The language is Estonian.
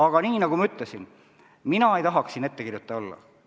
Aga nagu ma ütlesin, mina ei tahaks siin ettekirjutaja olla.